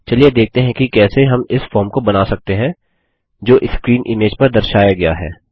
चलिए देखते हैं कि कैसे हम इस फॉर्म को बना सकते हैं जो स्क्रीन इमेज पर दर्शाया गया है